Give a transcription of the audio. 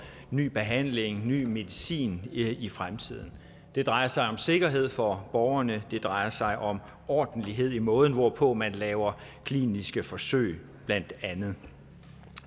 ny behandling om ny medicin i fremtiden det drejer sig om sikkerhed for borgerne og det drejer sig om ordentlighed i måden hvorpå man laver kliniske forsøg blandt andet